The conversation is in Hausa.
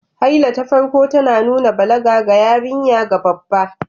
Haila ta farko tana nuna balaga ga yarinya ga babba